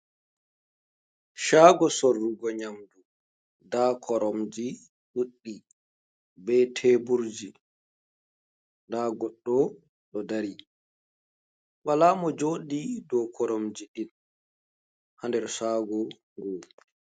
Shaago sorrugo nyamdu nda koromji ɗuɗɗi be teburji nda goɗɗo ɗo dari wala mo joɗi dou koromje ɗin ha nder shaago gun.